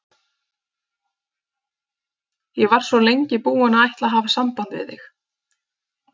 Ég var svo lengi búin að ætla að hafa samband við þig.